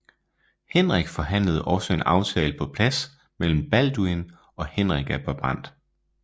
Henrik forhandlede også en aftale på plads mellem Balduin og Henrik af Brabant